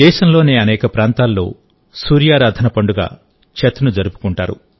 దేశంలోని అనేక ప్రాంతాల్లో సూర్యారాధన పండుగ ఛత్ ను జరుపుకుంటారు